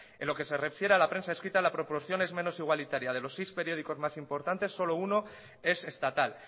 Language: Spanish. en lo que se refiere a la prensa escrita la proporción es menos igualitaria de los seis periódicos más importantes solo uno es estatal